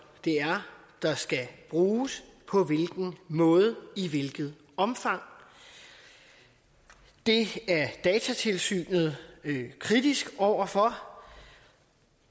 der skal bruges på hvilken måde og i hvilket omfang det er datatilsynet kritisk over for